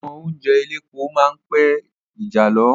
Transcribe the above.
Àwọn oúnjẹ elépo máa ń pe ìjàlọ.